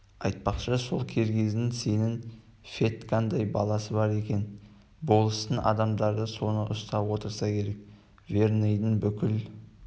айтпақшы сол киргиздың сенің федькаңдай баласы бар екен болыстың адамдары соны ұстап отырса керек верныйдың бүкіл